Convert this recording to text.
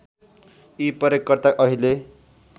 यी प्रयोगकर्ता अहिले